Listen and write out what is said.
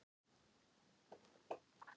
Sonja, hækkaðu í hátalaranum.